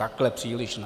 Takhle příliš ne.